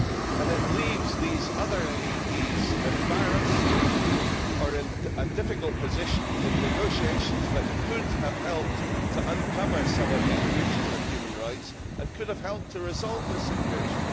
And it leaves these other MEPs embarrassed or in a difficult position in negotiations that could have helped to uncover some of these breaches of human rights and could have helped to resolve this situation.